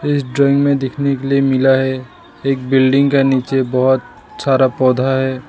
इस ड्राइंग में देखने के लिए मिला है एक बिल्डिंग का नीचे बहुत सारा पौधा है।